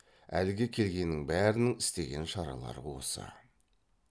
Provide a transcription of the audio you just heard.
әлгі келгеннің бәрінің істеген шаралары осы